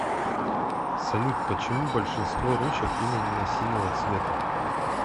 салют почему большинство ручек именно синего цвета